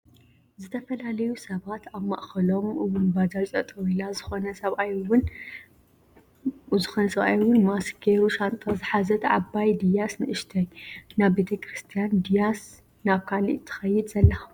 ዝተፈላለዩ ሰባት ኣብ ማእከሎም እውን ባጃጅ ጠጠው ኢላ ዝኮነ ሰባኣይ እውን ማስክ ገይሩ ሻንጣ ዝሓዘት ዓባይ ድያስ ንእሽተይ ናብ ቤተክርስትያን ድይስ ናብ ካሊእ ትከይድ ዘላ?